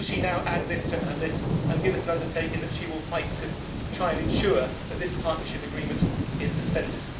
Will she now add this to her list and give us an undertaking that she will fight to try and ensure that this partnership agreement is suspended?